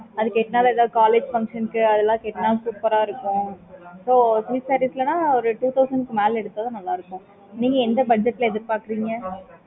அப்புறம் silk sarees லாம் two thousand மேல எடுத்தா தான் நல்ல இருக்கும் நீங்க எந்த budget ல எதிர்பாக்குறீங்க